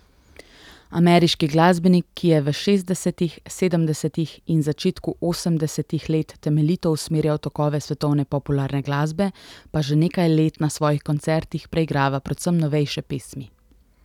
Ameriški glasbenik, ki je v šestdesetih, sedemdesetih in začetku osemdesetih let temeljito usmerjal tokove svetovne popularne glasbe, pa že nekaj let na svojih koncertih preigrava predvsem novejše pesmi.